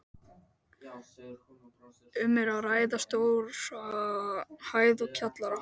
Um er að ræða stóra hæð og kjallara.